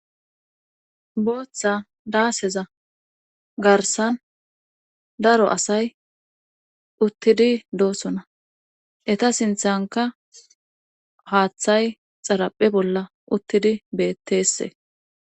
booththa daaseza garsan daro asay uttidi doosona eta sinthanka haaththay xaraphe bolla uttidi beetteesse